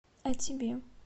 а тебе